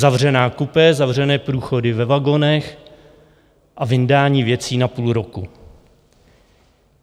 Zavřená kupé, zavřené průchody ve vagonech a vyndání věcí na půl roku.